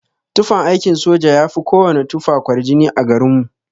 Tufan aikin soja yafi kowana tufa kwarjini a garin mu.